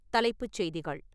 தலைப்புச் செய்திகள்